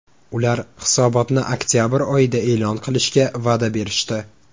Ular hisobotni oktabr oyida e’lon qilishga va’da berishdi.